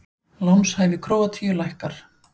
Lánshæfi Króatíu lækkar